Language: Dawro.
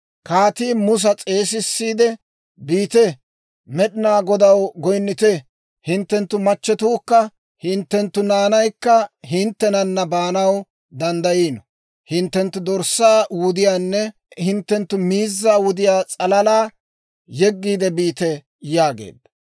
Kaatii Musa s'eesissiide, «Biite; Med'inaa Godaw goynnite; hinttenttu machchetuukka hinttenttu naanaykka hinttenana baanaw danddayiino. Hinttenttu dorssaa wudiyaanne hinttenttu miizzaa wudiyaa s'alalaa yeggiide biite» yaageedda.